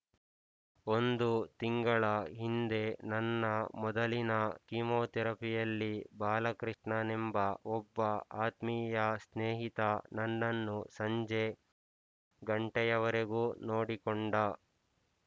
ಒಂದು ತಿಂಗಳ ಹಿಂದೆ ನನ್ನ ಮೊದಲಿನ ಕೀಮೋಥೆರಪಿಯಲ್ಲಿ ಬಾಲಕೃಷ್ಣನೆಂಬ ಒಬ್ಬ ಆತ್ಮೀಯ ಸ್ನೇಹಿತ ನನ್ನನ್ನು ಸಂಜೆ ಘಂಟೆಯವರೆಗೂ ನೋಡಿಕೊಂಡ